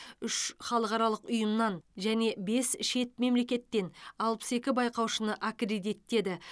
үш халықаралық ұйымнан және бес шет мемлекеттен алпыс екі байқаушыны аккредиттеді